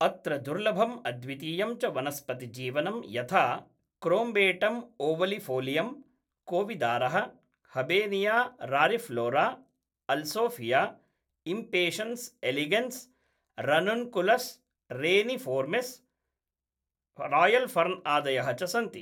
अत्र दुर्लभम् अद्वितीयं च वनस्पतिजीवनं यथा क्रोम्बेटम् ओवलिफ़ोलियम्, कोविदारः, हबेनिया रारिफ़्लोरा, अल्सोफ़िया, इम्पेशन्स् एलिगेन्स्, रनुन्कुलस् रेनिफ़ोर्मिस्, रायल् फ़र्न् आदयः च सन्ति।